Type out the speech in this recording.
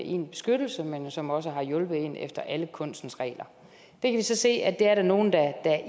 en beskyttelse og som også har hjulpet en efter alle kunstens regler vi kan så se at der er nogle der